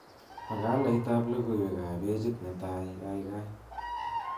Makalaitab logoiwek ab pejit netai kaikai